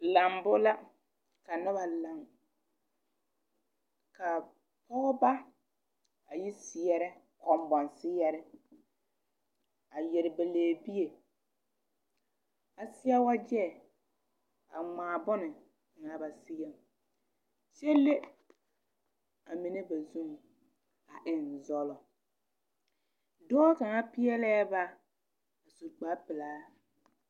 Lambo la ka nuba lang ka pɔgba a yi seɛrɛ kunbon seere a yere ba leɛbie a seɛ wɔje a mgaa bonkanga ba seɛ kye le a mene ba zung a eng zolo doɔ kanga peelee ba a su kpare pelaa.